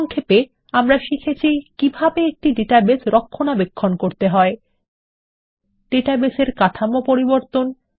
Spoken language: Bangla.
সংক্ষেপে আমরা শিখেছি কিভাবে একটি ডাটাবেস রক্ষনাবেক্ষণ করতে হয় ডাটাবেস এর কাঠামো পরিবর্তন